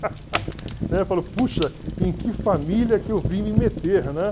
né? Falou, puxa, em que família que eu vim me meter? Né?